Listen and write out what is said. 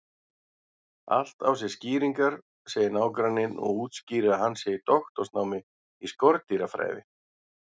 Allt á sér skýringar, segir nágranninn og útskýrir að hann sé í doktorsnámi í skordýrafræði.